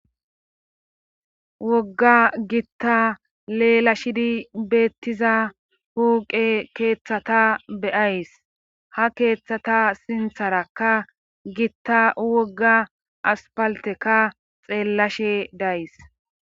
Wogga gitta leela shidi beettiza huuqe keeththata beyays ha keeththata sintharakka gitta wogga aspalteka xeellashe days.